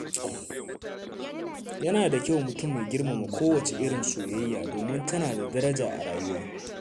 Yana da kyau mutum ya girmama kowace irin soyayya, domin tana da daraja a rayuwa.